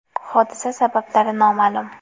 Hodisa sabablari noma’lum.